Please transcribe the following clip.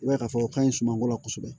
I b'a ye k'a fɔ o ka ɲi sumako la kosɛbɛ